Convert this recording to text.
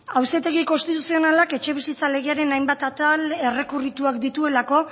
auzitegi konstituzionalak etxebizitza legearen hainbat atal errekurrituak dituelako